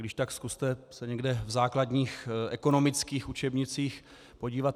Když tak zkuste se někde v základních ekonomických učebnicích podívat.